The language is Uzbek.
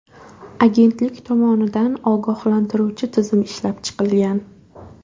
Agentlik tomonidan ogohlantiruvchi tizim ishlab chiqilgan.